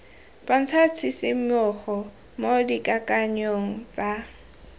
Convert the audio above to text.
bontsha tshisimogo mo dikakanyong tsa